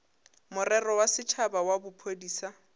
morero wa setšhaba wa bophodisa